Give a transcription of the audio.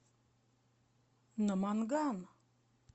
наманган